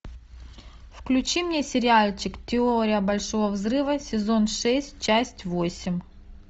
включи мне сериальчик теория большого взрыва сезон шесть часть восемь